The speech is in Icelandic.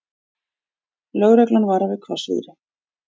Lögreglan varar við hvassviðri